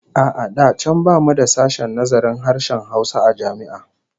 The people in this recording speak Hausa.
A'a da can bamu da sashen nazarin harshen Hausa a jami'a